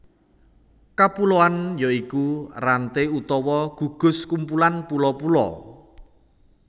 Kapuloan ya iku ranté utawa gugus kumpulan pulo pulo